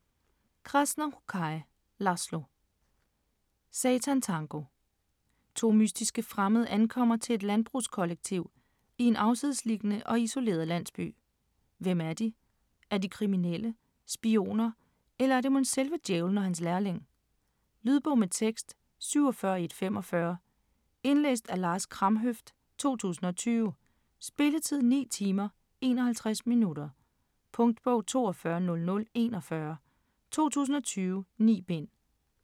Krasznahorkai, László: Satantango To mystiske fremmede ankommer til et landbrugskollektiv i en afsidesliggende og isoleret landsby. Hvem er de? Er de kriminelle, spioner, eller er det mon selve djævlen og hans lærling? Lydbog med tekst 47145 Indlæst af Lars Kramhøft, 2020. Spilletid: 9 timer, 51 minutter. Punktbog 420041 2020. 9 bind.